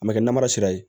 A ma kɛ namara sira ye